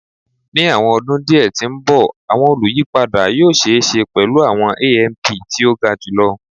Ni awọn ọdun diẹ ti n bọ awọn oluyipada yoo ṣee ṣe pẹlu awọn AMP ti o ga julọ